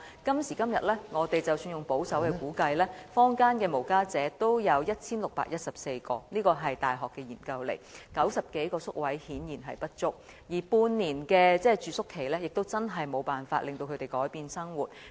今時今日，即使根據保守估計，坊間的無家者共有1614人——這是大學的調查結果 ——90 多個宿位顯然不足，而半年的住宿期亦無法令他們改變生活。